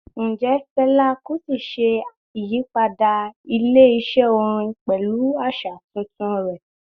Njẹ Fẹla Kuti ṣe iyipada ile-iṣẹ orin pẹlu aṣa tuntun rẹ?